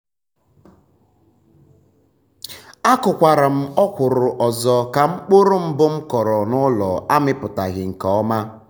akụkwara um m ọkwụrụ ọzọ ka mkpụrụ um mbụ m kọrọ n'ụlọ amịpụtaghi nke um ọma.